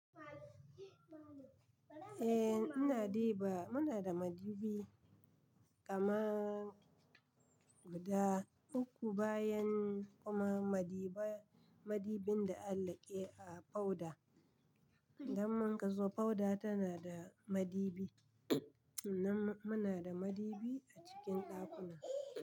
Eh ina dibawa muna da madubi kaman guda uku bayan kuma madiba madibin da alaƙe a fauda don mun gazo fauda tana da madibi nan muna da madibi a cikin ɗakuna.